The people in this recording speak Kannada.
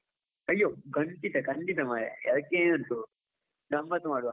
ಅಯ್ಯೋ, ಖಂಡಿತ ಖಂಡಿತ ಮಾರಾಯ ಅದಕ್ಕೆ ಏನುಂಟು ಗಮ್ಮತ್ ಮಾಡುವ.